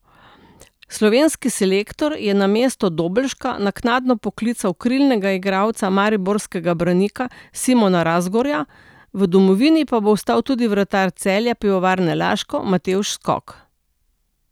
Slovenski selektor je namesto Dobelška naknadno poklical krilnega igralca mariborskega Branika Simona Razgorja, v domovini pa bo ostal tudi vratar Celja Pivovarne Laško Matevž Skok.